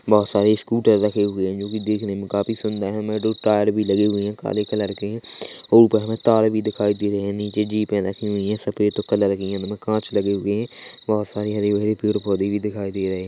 बहोत सारे स्कूटर रखे हुए है जो कि देखने में काफी सूंदर है में दो टायर भी लगे हुए है काले कलर के है ऊपर में तार भी दिखाई दे रहे है निचे जीपें रखी हुई है सफ़ेद कलर की है इनमे कांच लगे हुए है बहुत सारे हरे-भरे पेड़-पौधे भी दिखाई दे रहे है।